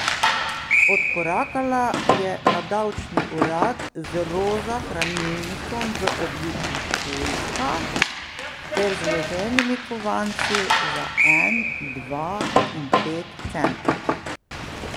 Odkorakala je na davčni urad z roza hranilnikom v obliki pujska ter zloženimi kovanci za en, dva in pet centov.